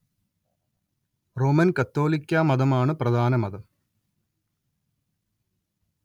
Roman‍ കത്തോലിക്കാ മതം ആണ് പ്രധാന മതം